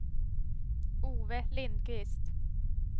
Ove Lindkvist